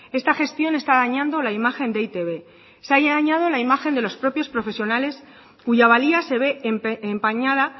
esta gestión está dañando la imagen de e i te be se haya dañado la imagen de los propios profesionales cuya valía se ve empañada